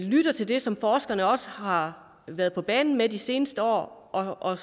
lytter til det som forskerne også har været på banen med de seneste år og